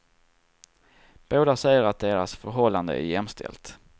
Båda säger att deras förhållande är jämställt.